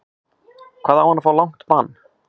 Hvað á hann að fá langt bann?